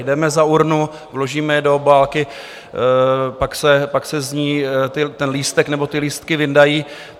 Jdeme za urnu, vložíme je do obálky, pak se z ní ten lístek nebo ty lístky vyndají.